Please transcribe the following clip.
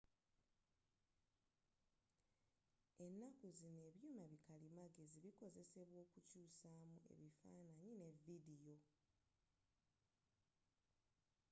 ennaku zino ebyuma bi kalimagezi bikozesebwa okukyusamu ebifananyi ne vidiyo